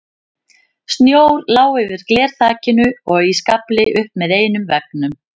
Snjór lá yfir glerþakinu og í skafli upp með einum veggnum.